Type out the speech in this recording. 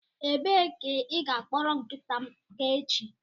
Ebee ka ị ga-akpọrọ nkịta m ga echi?